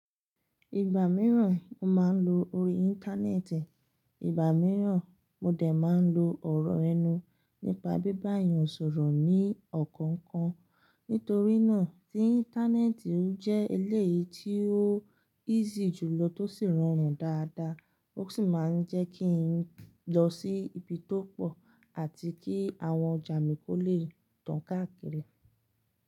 Ìgbà mìíràn mo máa ń lo orí Íńtánẹ́ẹ̀tì, ìgbà mìíràn mo dè máa ń lo ọ̀rọ̀ ẹnu nípa bíbá eeyàn sọ̀rọ̀ ní ọ̀kọ̀ọ̀kan. Nítorí náà tí Íńtánẹ́ẹ̀tì ó jẹ́ ilé tí ó easy jùlọ tó sì rọrùn dáadáa, ó sì máa ń jẹ́ kí n lọ sí ibi tó pọ̀ àti kí àwọn ọjà mi kó lè tán káàkiri.